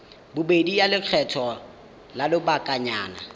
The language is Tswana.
bobedi ya lekgetho la lobakanyana